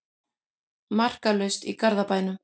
Markalaust í Garðabænum